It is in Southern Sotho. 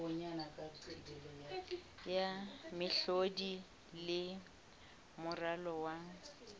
ya mehlodi le moralo wa